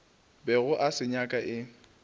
bego a se nyaka e